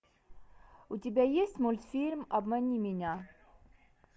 у тебя есть мультфильм обмани меня